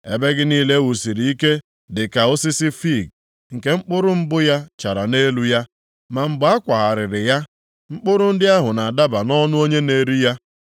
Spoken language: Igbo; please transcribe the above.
Ebe gị niile e wusiri ike dịka osisi fiig nke mkpụrụ mbụ ya chara nʼelu ya. Ma mgbe a kwagharịrị ya mkpụrụ ndị ahụ na-adaba nʼọnụ onye na-eri ya.